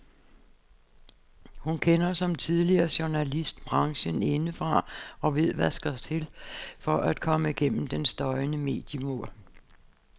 Hun kender, som tidligere journalist, branchen indefra og ved hvad der skal til for at komme gennem den støjende mediemur.